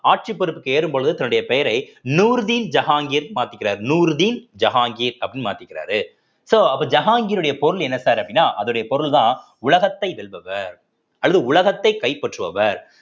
ஆட்சிப் பொறுப்புக்கு ஏறும் பொழுது தன்னுடைய பெயரை நூர்தீன் ஜஹாங்கீர் மாத்திக்கிறார் நூர்தீன் ஜஹாங்கீர் அப்படீன்னு மாத்திக்கிறாரு so அப்ப ஜஹாங்கீர் உடைய பொருள் என்ன sir அப்படின்னா அதனுடைய பொருள்தான் உலகத்தை வெல்பவர் அல்லது உலகத்தை கைப்பற்றுபவர்